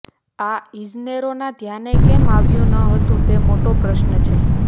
ના ઇજનેરોના ધ્યાને કેમ આવ્યું ન હતુ તે મોટો પ્રશ્ન છે